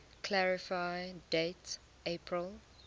clarify date april